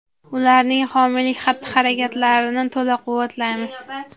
ularning homiylik xatti-harakatlarini to‘la quvvatlaymiz.